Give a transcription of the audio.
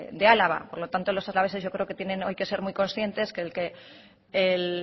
de álava por lo tanto los alaveses yo creo que tienen hoy que ser muy conscientes de que el